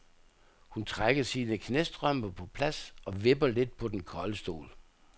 Hun trækker sine knæstrømper på plads og vipper lidt på den kolde stol.